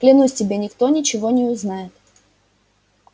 клянусь тебе никто ничего не узнает